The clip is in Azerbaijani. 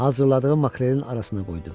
Hazırladığı makrelin arasına qoydu.